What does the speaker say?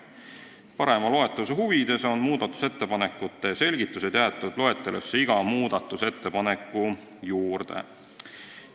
Parema loetavuse huvides on muudatusettepanekute selgitused jäetud loetelusse iga muudatusettepaneku juurde.